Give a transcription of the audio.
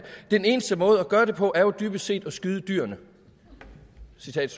den eneste måde at gøre det på er jo dybest set at skyde dyrene